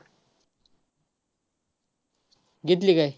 घेतली काय?